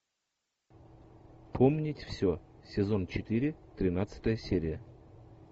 помнить все сезон четыре тринадцатая серия